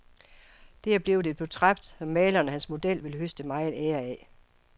Det er blevet et portræt, som maleren og hans model vil høste megen ære af.